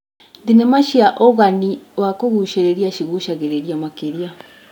Thenema cina ũgani wa kũgucĩrĩria cigucagĩrĩria makĩria.